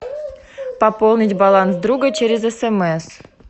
пополнить баланс друга через смс